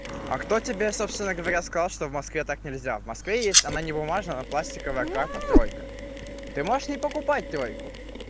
а кто тебе собственно говоря сказал что в москве так нельзя в москве есть она не бумажная она пластиковая карта тройка ты можешь не покупать тройку